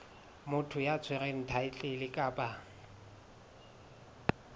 motho ya tshwereng thaetlele kapa